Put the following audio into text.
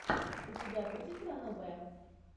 у тебя будет ранобе